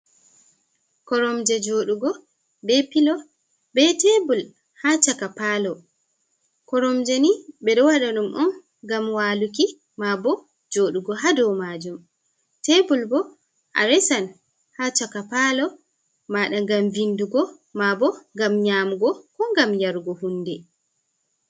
Koromje joɗugo be pilo be tebul ha chaka palo. Koromje ni ɓe ɗo waɗa ɗum on ngam waluki ma bo joɗugo ha dou majum. Tebul bo a resan ha chaka palo maɗa ngam vindugo ma bo ngam nyamugo ko gam yarugo hunde.